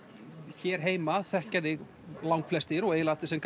hér heima þekkja þig langflestir og eiginlega allir sem